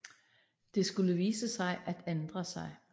Det skulle vise sig at ændre sig